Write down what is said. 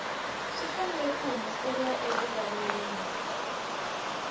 swi fanele ku humeseriwa erivaleni